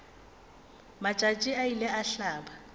matšatši a ile a hlaba